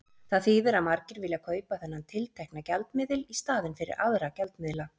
Það þýðir að margir vilja kaupa þennan tiltekna gjaldmiðil í staðinn fyrir aðra gjaldmiðla.